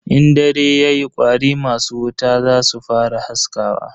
In dare yayi kwari masu wuta zasu fara haskawa.